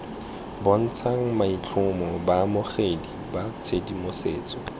bontshang maitlhomo baamogedi ba tshedimosetso